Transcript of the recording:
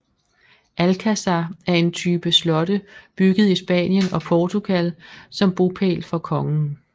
Alcázar er en type slotte bygget i Spanien og Portugal som bopæl for kongen